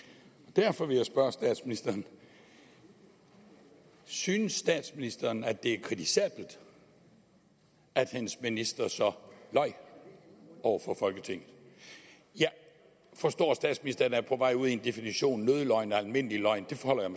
derfor vil jeg spørge statsministeren synes statsministeren at det er kritisabelt at hendes minister så løj over for folketinget jeg forstår at statsministeren er på vej ud i en definition af nødløgn almindelig løgn det forholder